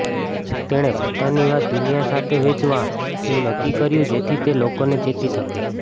તેણે પોતાની વાત દુનિયા સાથે વેચવા નું નક્કી કર્યું જેથી તે લોકો ને ચેતી શકે